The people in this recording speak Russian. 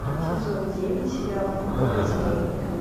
сезон девять сериал в поле зрения